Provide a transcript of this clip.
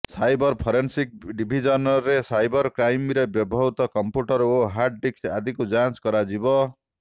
cyber forensic ଡିଭିଜନରେ cyber କ୍ରାଇମରେ ବ୍ୟବହୃତ କଂପ୍ୟୁଟର ଓ ହାର୍ଡ ଡିସ୍କ ଆଦିକୁ ଯାଞ୍ଚ କରାଯିବ